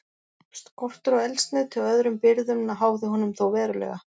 Skortur á eldsneyti og öðrum birgðum háði honum þó verulega.